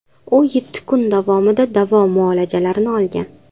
U yetti kun davomida davo muolajalarini olgan.